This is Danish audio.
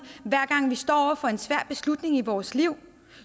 hver gang vi står over for en svær beslutning i vores liv